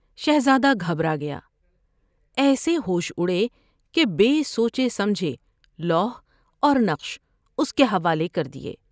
شہزادہ گھبرا گیا۔ ایسے ہوش اڑے کہ بے سوچے سمجھےلوح اور نقش اس کے حوالے کر دیے ۔